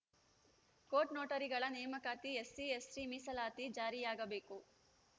court ನೋಟರಿಗಳ ನೇಮಕಾತಿ SC ST ಮೀಸಲಾತಿ ಜಾರಿಯಾಗಬೇಕು